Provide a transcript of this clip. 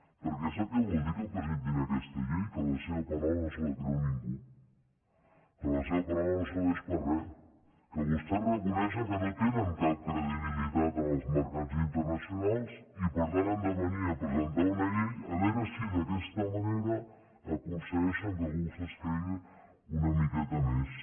perquè sap què vol dir que presentin aquesta llei que la seva paraula no se la creu ningú que la seva paraula no serveix per a res que vostès reconeixen que no tenen cap credibilitat en els mercats internacionals i per tant han de venir a presentar una llei a veure si d’aquesta manera aconsegueixen que algú se’ls cregui una miqueta més